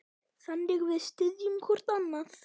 Þannig við styðjum hvorn annan.